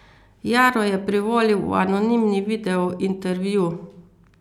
Jaro je privolil v anonimni video intervju.